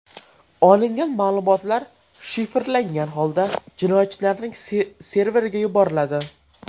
Olingan ma’lumotlar shifrlangan holda jinoyatchilarning serveriga yuboriladi.